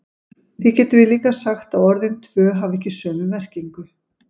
Því getum við líka sagt að orðin tvö hafi ekki sömu merkingu.